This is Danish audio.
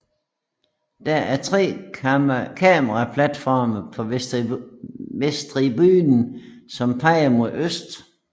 Der er tre kameraplatforme på vesttribunen som peger mod øst